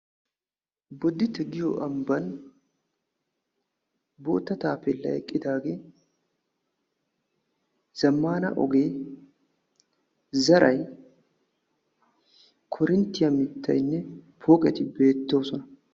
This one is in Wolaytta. boditte giyo ambban bootta taapeelay eqqidaagee, zamaana ogee zaray, korintiya shubboy beetoosona.